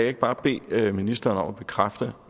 ikke bare bede ministeren om at bekræfte